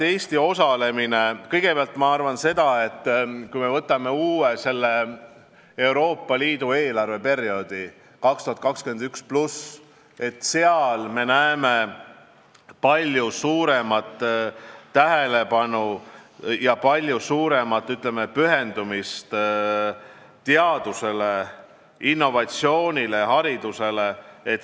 Ma kõigepealt arvan seda, et kui me võtame uue Euroopa Liidu eelarveperioodi 2021+, siis me näeme selles palju suuremat tähelepanu ja palju suuremat, ütleme, pühendumist teadusele, innovatsioonile, haridusele.